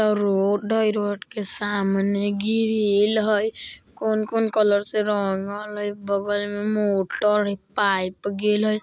अ road हई road के सामने ग्रिल हए कोन-कोन कलर से रंगल हई बगल में मोटर हई पाइप गेएल हई।